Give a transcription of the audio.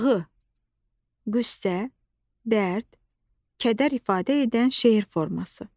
Ağı, qüssə, dərd, kədər ifadə edən şeir forması.